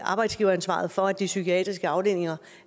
arbejdsgiveransvaret for at de psykiatriske afdelinger